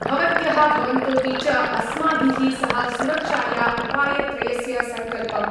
भवत्यः भवन्तोऽपि च अस्माभिः सह सुरक्षाया उपायत्रयस्य सङ्कल्पं